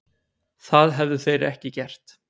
Það hefðu þeir ekki gert